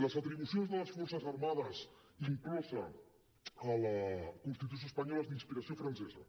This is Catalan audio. les atribucions de les forces armades incloses a la constitució espanyola són d’inspiració francesa